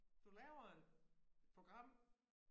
Du laver et program